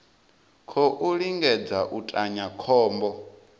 khou lingedza u tinya khombo